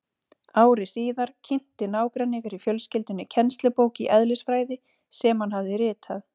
Ári síðar kynnti nágranni fyrir fjölskyldunni kennslubók í eðlisfræði sem hann hafði ritað.